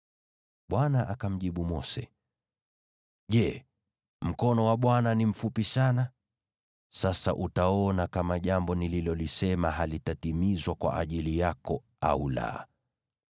Bwana akamjibu Mose, “Je, mkono wa Bwana ni mfupi sana? Sasa utaona kama jambo nililolisema litatimizwa kwa ajili yako au la.”